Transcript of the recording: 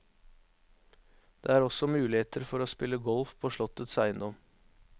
Det er også muligheter for å spille golf på slottets eiendom.